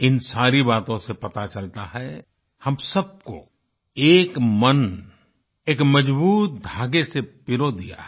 इन सारी बातों से पता चलता है हम सबको एक मन एक मजबूत धागे से पिरो दिया है